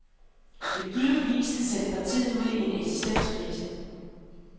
Det ville givetvis have sendt partiet ud i en eksistenskrise.